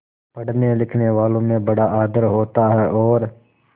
पढ़नेलिखनेवालों में बड़ा आदर होता है और